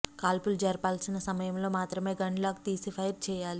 కాల్పులు జరపాల్సిన సమయంలో మాత్రమే గన్ లాక్ తీసి ఫైర్ చేయాలి